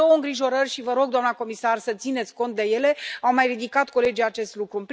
Însă am două îngrijorări și vă rog, doamnă comisar, să țineți cont de ele, au mai ridicat colegii acest lucru.